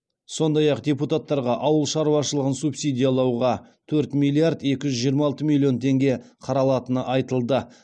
сондай ақ депутататтарға ауыл шаруашылығын субсидиялауға төрт миллиард екі жүз жиырма алты миллион теңге қаралатыны айтылды